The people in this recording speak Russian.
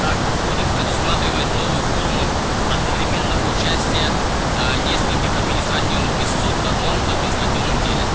так же кодекс предусматривает новую форму одновременного участия нескольких административных истцов в одном административном деле